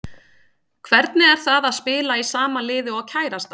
Hvernig er það að spila í sama liði og kærastan?